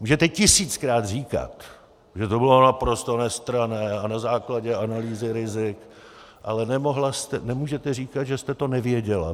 Můžete tisíckrát říkat, že to bylo naprosto nestranné a na základě analýzy rizik, ale nemůžete říkat, že jste to nevěděla.